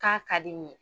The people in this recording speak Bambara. K'a ka di n ye